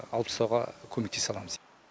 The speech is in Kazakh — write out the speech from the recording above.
алып тастауға көмектесе аламыз